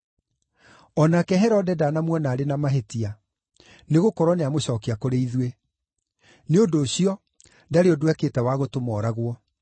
O nake Herode ndanamuona arĩ na mahĩtia, nĩgũkorwo nĩamũcookia kũrĩ ithuĩ; nĩ ũndũ ũcio, ndarĩ ũndũ ekĩte wa gũtũma ooragwo.